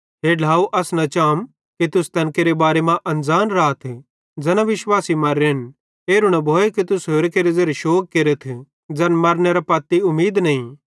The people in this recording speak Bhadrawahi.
हे ढ्लाव अस न चातम कि तुस तैन केरे बारे मां अनज़ान राथ ज़ैना विश्वासी मर्रेन अनज़ान राथ एरू न भोए कि तुस होरि केरे ज़ेरे शोग केरथ ज़ैन मर्रनेरां पत्ती उमीद नईं